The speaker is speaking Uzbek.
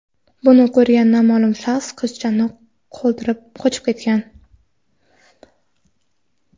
Buni ko‘rgan noma’lum shaxs qizchani qoldirib, qochib ketgan.